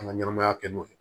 An ka ɲɛnɛmaya kɛ n'o ye